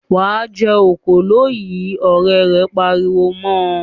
"Wà á jẹ òkòló yìí!" Ọ̀rẹ́ rẹ̀ pariwo mọ.